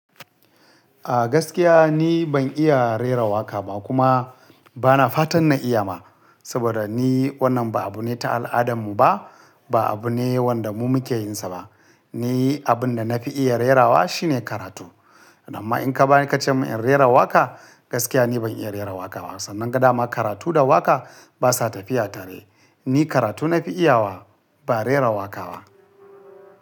A gaskiya ni ban iya rera waƙa ba kuma bana fatan na iya ma, saboda ni wannan ba abu ne ta al'adarmu ba, ba abu ne wanda mu muke yin sa ba. Ni abun da na fi iya rerawa shi ne karatu. Amma in ka ba ni ka ce min in rera waƙa, gaskiya ni ban iya rera waƙa ba. Sanan gadama karatu da waƙa basa tafiya tare. Ni karatu na fi iyawa ba rera waƙa ba.